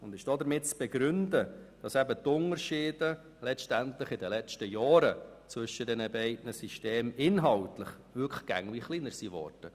Sie ist damit zu begründen, dass die inhaltlichen Unterschiede der beiden Systeme in den letzten Jahren immer kleiner wurden.